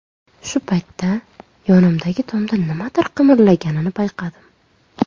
Shu paytda yonimdagi tomda nimadir qimirlaganini payqadim.